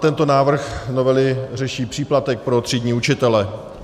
Tento návrh novely řeší příplatek pro třídní učitele.